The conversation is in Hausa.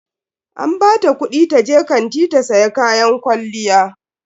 An bata kudi taje kanti ta siya kayan kwalliya.